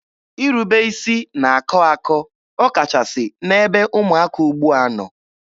Irube isi na-akọ akọ ọkachasị n'ebe ụmụaka ugbua nọ.